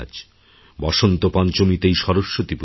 বসন্তপঞ্চমীতেই সরস্বতী পূজা হয়